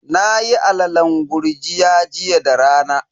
Nayi alalen gurjiya jiya da rana.